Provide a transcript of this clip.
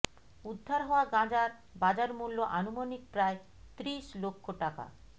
উদ্ধার হওয়া গাঁজার বাজার মূল্য আনুমানিক প্রায় ত্রিশ লক্ষ টাকা